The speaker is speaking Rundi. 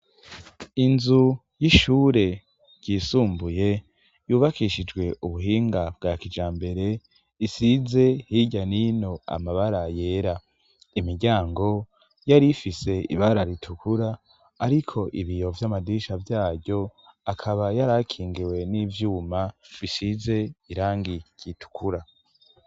Inzu y'ishure ryisumbuye ryubakishijwe ubuhinga bwa kijambere isize hirya n'ino amabara yera. Imiryango yari ifise ibara ritukura ariko ibiyo vy'amadirisha vyaryo akaba yarakingiwe n'ivyuma bisize irangi ritukura.